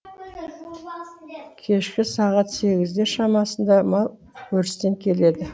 кешкі сағат сегіздер шамасында мал өрістен келеді